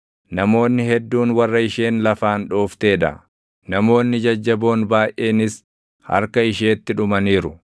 Namoonni hedduun warra isheen lafaan dhooftee dha; namoonni jajjaboon baayʼeenis harka isheetti dhumaniiru.